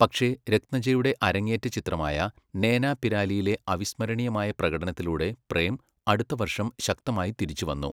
പക്ഷെ രത്നജയുടെ അരങ്ങേറ്റ ചിത്രമായ 'നേനാപിരാലി'യിലെ അവിസ്മരണീയമായ പ്രകടനത്തിലൂടെ പ്രേം അടുത്ത വർഷം ശക്തമായി തിരിച്ചുവന്നു.